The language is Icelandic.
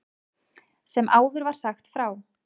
Sem áður var sagt frá.